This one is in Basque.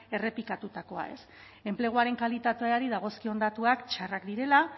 errepikatutakoa ez enpleguaren kalitateari dagozkion datuak txarrak direla